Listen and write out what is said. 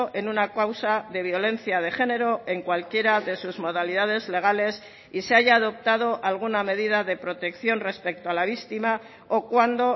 en una causa de violencia de género en cualquiera de sus modalidades legales y se haya adoptado alguna medida de protección respecto a la víctima o cuando